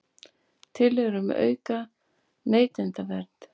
Tillögur um aukna neytendavernd